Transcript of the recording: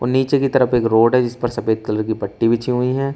नीचे की तरफ एक रोड है जिसपर सफेद कलर की पट्टी बिछी हुई है।